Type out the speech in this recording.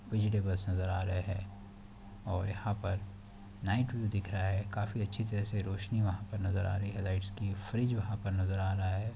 Vegetable नजर आ रहे है और यहाँं पर लाइट्स भी दिख रहा है काफी अच्छी तरह से रोशनी वहाँ पर नजर आ रही है लाइट्स की फ्रिज वहाँ पर नजर आ रहा है।